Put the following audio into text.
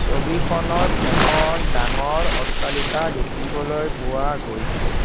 ছবিখনত এখন ডাঙৰ অট্টালিকা দেখিবলৈ পোৱা গৈছে।